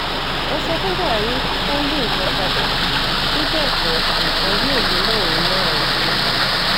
ẹ sọ fún buhari kò yí nǹkan padà bí bẹ́ẹ̀ kó nǹkan yóò lè mọ òun náà o